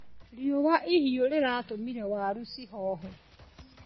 Riũa ihiũ rĩratũmire waru cihohe.